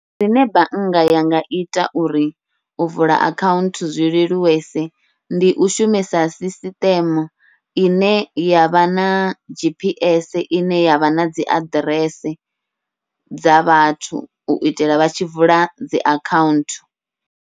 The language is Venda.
Zwine bannga ya nga ita uri u vula akhaunthu zwi leluwese ndi u shumisa sisiṱeme ine yavha na G_P_S ine yavha nadzi aḓirese, dza vhathu uitela vha tshi vula dzi akhaunthu.